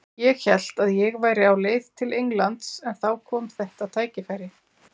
Ég hélt að ég væri á leið til Englands en þá kom þetta tækifæri.